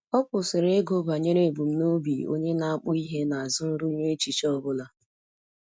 Ọ kwụsịrị ịgụ banyere ebumnobi onye na-akpụ ihe n'azụ nrụnye echiche ọ bụla.